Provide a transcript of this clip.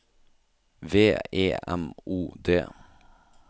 V E M O D